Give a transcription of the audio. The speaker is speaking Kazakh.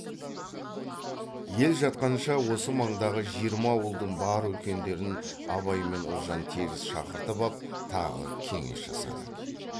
ел жатқанша осы маңдағы жиырма ауылдың бар үлкендерін абай мен ұлжан тегіс шақыртып ап тағы кеңес жасады